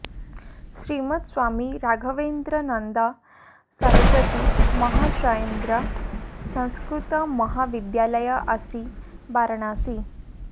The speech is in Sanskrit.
श्रीमद् स्वामी राघवेन्द्रानन्द सरस्वती महाश्रयेन्द्र संस्कृत महाविद्यालय अस्सी वाराणसी